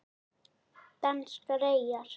Danskar eyjar